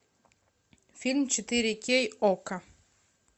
фильм четыре кей окко